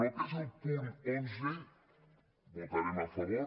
el que és el punt onze votarem a favor